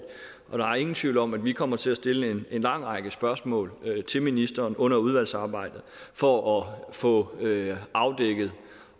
der er ingen tvivl om at vi kommer til at stille en lang række spørgsmål til ministeren under udvalgsarbejdet for at få afdækket